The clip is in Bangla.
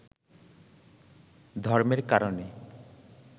ধর্মের কারণে